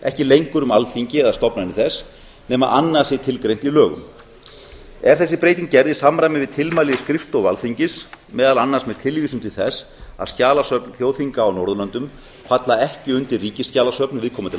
ekki lengur um alþingi eða stofnanir þess nema annað sé tilgreint í lögum er þessi breyting gerð í samræmi við tilmæli skrifstofu alþingis meðal annars með tilvísun til þess að skjalasöfn þjóðþinga á norðurlöndum falla ekki undir ríkisskjalasöfn viðkomandi